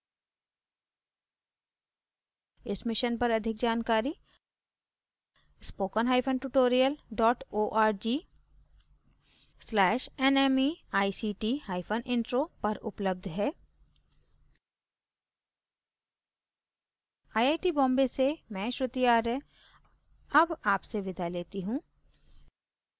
इस मिशन पर अधिक जानकारी